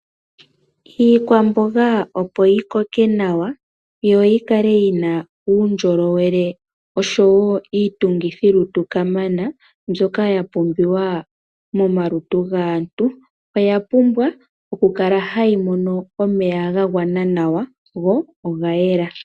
Iikwamboga opo yi koke nawa, yo yikale yina uundjolowele osho woo iitungithilutu kamana mbyoka ya pumbiwa momalutu gaantu, oya pumbwa oku kala hayi mono omeya ga gwana nawa, go oga yela.